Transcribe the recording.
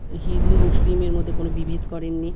হিন্দু মুসলিম -এ কোন বিভেদ করেননি।